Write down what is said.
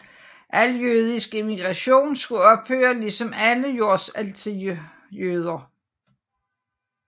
Al jødisk immigration skulle ophøre ligesom alle jordsalg til jøder